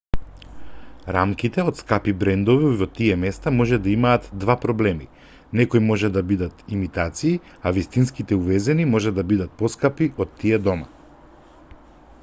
рамките од скапи брендови во тие места може да имаат два проблеми некои може да бидат имитации а вистинските увезени може да бидат поскапи од тие дома